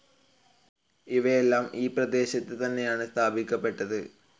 ഇവയെല്ലാം ഈ പ്രദേശത്ത് തന്നെയാണ് സ്ഥാപിക്കപ്പെട്ടത്.